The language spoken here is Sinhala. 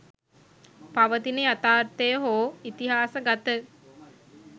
පවතින යථාර්ථය හෝ ඉතිහාසගත